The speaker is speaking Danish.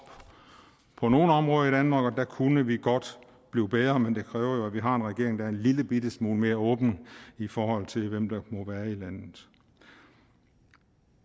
på nogle områder i danmark og der kunne vi godt blive bedre men det kræver jo at vi har en regering der er en lillebitte smule mere åben i forhold til hvem der må være i landet